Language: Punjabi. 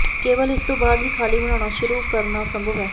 ਕੇਵਲ ਇਸ ਤੋਂ ਬਾਅਦ ਹੀ ਖਾਲੀ ਬਣਾਉਣਾ ਸ਼ੁਰੂ ਕਰਨਾ ਸੰਭਵ ਹੈ